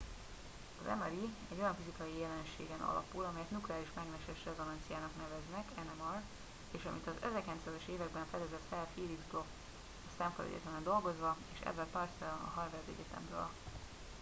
az mri egy olyan fizikai jelenségen alapul amelyet nukleáris mágneses rezonanciának neveznek nmr és amit az 1930-as években fedezett fel felix bloch a stanford egyetemen dolgozva és edward purcell a harvard egyetemről